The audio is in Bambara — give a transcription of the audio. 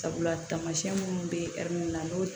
Sabula tamasiyɛn minnu bɛ na n'o